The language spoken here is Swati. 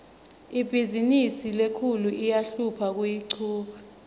ibhizimisi lenkhulu iyahlupha kuyichuba